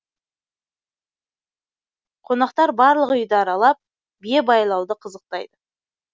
қонақтар барлық үйді аралап бие байлауды қызықтайды